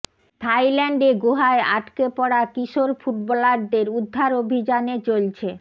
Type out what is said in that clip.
থাইল্যান্ডে গুহায় আটকে পড়া কিশোর ফুটবলারদের উদ্ধার অভিযানে চলছে